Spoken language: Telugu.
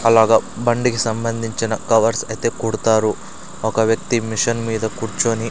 అలాగ బండికి సంబంధించిన కవర్స్ ఐతే కుడతారు ఒక వ్యక్తి మిషన్ మీద కుర్చొని --